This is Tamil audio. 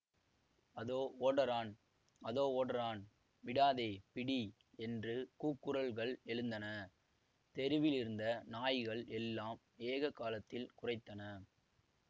அதோ ஓடறான் அதோ ஓடறான் விடாதே பிடி என்று கூக்குரல்கள் எழுந்தன தெருவிலிருந்த நாய்கள் எல்லாம் ஏக காலத்தில் குரைத்தன